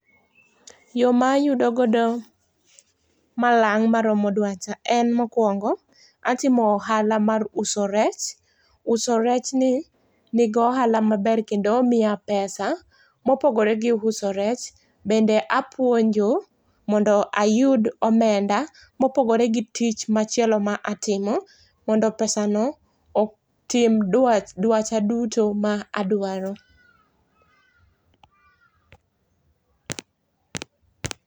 Yoo ma ayudo go malang maromo dwacha en mokuongo atimo ohala mar uso rech. Uso rech ni nigi ohala maber kendo omiya pesa. Mopogore gi uso rech bende apuonjo mondo ayud omenda mopogore gi tich machielo matimo mondo pesano otim dwacha duto ma adwaro